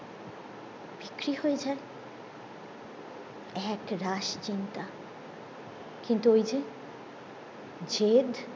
বিক্রি হয়ে যায় এক রাশ চিন্তা কিন্তু ওই যে যেদ